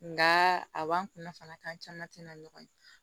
Nka a b'an kunna fana kan caman tɛna ɲɔgɔn ye